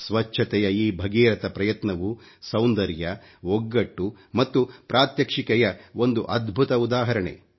ಸ್ವಚ್ಚತೆಯ ಈ ಭಗೀರಥ ಪ್ರಯತ್ನವು ಸೌಂದರ್ಯ ಒಗ್ಗಟ್ಟು ಮತ್ತು ಪ್ರಾತ್ಯಕ್ಷಿಕೆಯ ಒಂದು ಅದ್ಭುತ ಉದಾಹರಣೆ